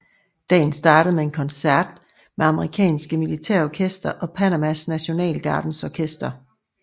Dagen startede med en koncert med amerikanske militærorkestre og Panamas Nationalgardes orkester